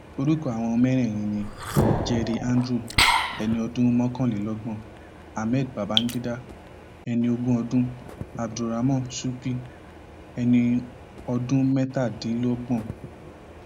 orúkọ àwọn mẹrẹẹrin ni jerry andrew ẹni ọdún mọkànlélọgbọn ahmed babangida ẹni ogún ọdún abdulrahman súpì ẹni ọdún mẹtàdínlọgbọn